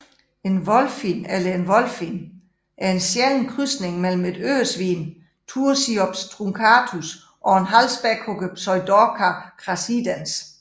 En wolphin eller wholphin er en sjælden krydsning mellem et Øresvin Tursiops truncatus og en Halvspækhugger Pseudorca crassidens